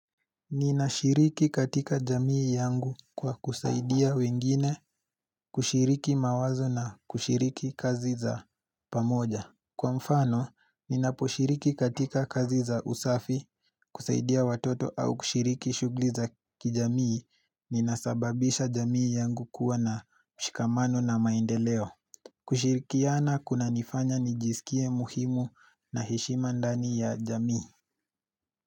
Ninashiriki katika jamii yangu kwa kusaidia wengine kushiriki mawazo na kushiriki kazi za pamoja. Kwa mfano, ninaposhiriki katika kazi za usafi kusaidia watoto au kushiriki shughli za kijamii ninasababisha jamii yangu kuwa na mshikamano na maendeleo. Kushirikiana kuna nifanya nijisikie muhimu na heshima ndani ya jamii.